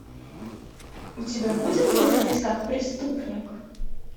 у тебя будет мыслить как преступник